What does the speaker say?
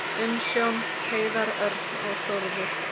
Umsjón Hreiðar Örn og Þórður.